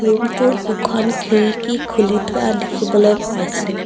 ৰুমটোত দুখন খিৰিকী খুলি থোৱা দেখিবলৈ পাইছোঁ।